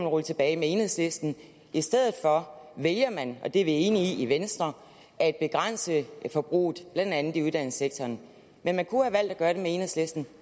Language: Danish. rulle tilbage med enhedslisten i stedet for vælger man og det er vi enige i i venstre at begrænse forbruget blandt andet i uddannelsessektoren men man kunne have valgt at gøre det med enhedslisten